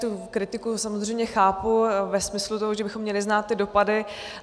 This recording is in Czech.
Tu kritiku samozřejmě chápu ve smyslu toho, že bychom měli znát ty dopady.